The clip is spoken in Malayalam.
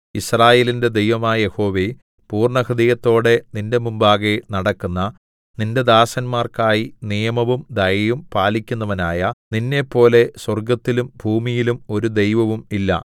യിസ്രായേലിന്റെ ദൈവമായ യഹോവേ പൂർണ്ണഹൃദയത്തോടെ നിന്റെ മുമ്പാകെ നടക്കുന്ന നിന്റെ ദാസന്മാർക്കായി നിയമവും ദയയും പാലിക്കുന്നവനായ നിന്നെപ്പോലെ സ്വർഗ്ഗത്തിലും ഭൂമിയിലും ഒരു ദൈവവും ഇല്ല